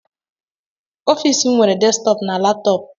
Ọfịs m nwere desktọpụ na laptọọpụ.